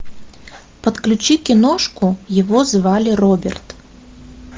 подключи киношку его звали роберт